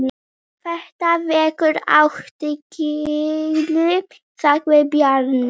Þetta vekur athygli sagði Bjarni.